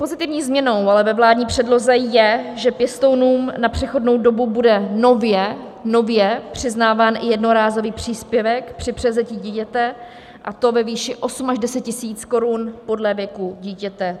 Pozitivní změnou ale ve vládní předloze je, že pěstounům na přechodnou dobu bude nově přiznáván i jednorázový příspěvek při převzetí dítěte, a to ve výši 8 až 10 000 korun podle věku dítěte.